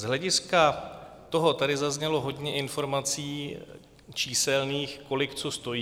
Z hlediska toho tady zaznělo hodně informací číselných, kolik co stojí.